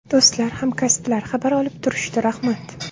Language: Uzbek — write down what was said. Do‘stlar, hamkasblar xabar olib turishdi, rahmat.